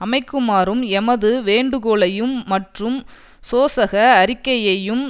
அமைக்குமாறும் எமது வேண்டுகோளையும் மற்றும் சோசக அறிக்கையையும்